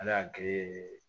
Ala y'a kɛ